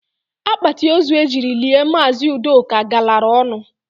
Akpatị ózu e jiri lie Maazị ụdoka galara ọnụ